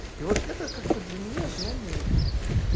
и вот это как бы для меня знамение